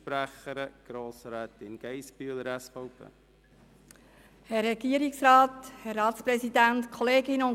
Als Einzelsprecherin spricht Grossrätin Geissbühler.